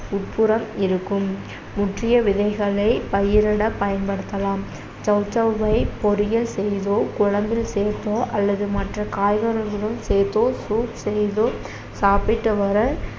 உட்புறம் இருக்கும் முற்றிய விதைகளை பயிரிட பயன்படுத்தலாம் சௌசௌவை பொறியல் செய்தோ, குழம்பில் சேர்த்தோ அல்லது மற்ற காய்கறிகளுடன் சேர்த்தோ soup செய்தோ சாப்பிட்டு வர